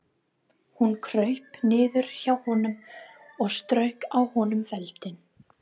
Hún kraup niður hjá honum og strauk á honum feldinn.